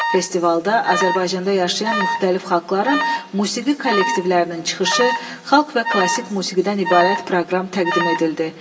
Festivalda Azərbaycanda yaşayan müxtəlif xalqların musiqi kollektivlərinin çıxışı, xalq və klassik musiqidən ibarət proqram təqdim edildi.